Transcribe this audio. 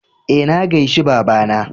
E, na gaishe baba na.